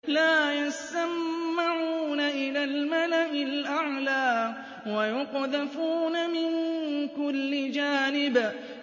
لَّا يَسَّمَّعُونَ إِلَى الْمَلَإِ الْأَعْلَىٰ وَيُقْذَفُونَ مِن كُلِّ جَانِبٍ